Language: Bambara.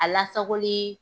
A lasakoli